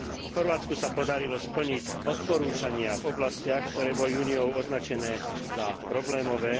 Chorvátsku sa podarilo splniť odporúčania v oblastiach, ktoré boli Úniou označené za problémové.